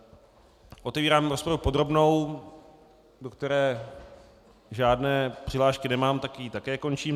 Otevírám rozpravu podrobnou, do které žádné přihlášky nemám, tak ji také končím.